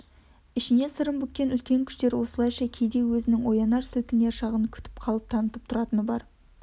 ішіне сырын бүккен үлкен күштер осылайша кейде өзінің оянар сілкінер шағын күтіп қалып танытып тұратыны бар